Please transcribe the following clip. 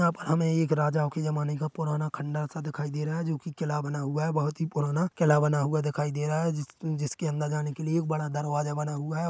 यहाँ पर हमे एक राजाओं के ज़माने का पुराना खंडर सा दिखाई दे रहा है जोकि किला बना हुआ है बोहत ही पुराना किला बना हुआ दिखाई दे रहा है जिस जिसके अंदर जाने के लिए एक बड़ा दरवाजा बना हुआ है।